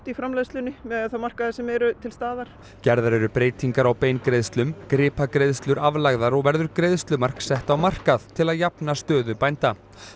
í framleiðslunni miðað við þá markaði sem eru til staðar gerðar eru breytingar á beingreiðslum gripagreiðslur aflagðar og verður greiðslumark sett á markað til að jafna stöðu bænda